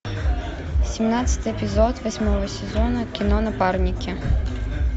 семнадцатый эпизод восьмого сезона кино напарники